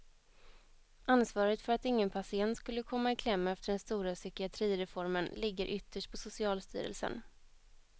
Ansvaret för att ingen patient skulle komma i kläm efter den stora psykiatrireformen ligger ytterst på socialstyrelsen.